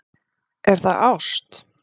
Er það ást?